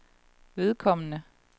vedkommende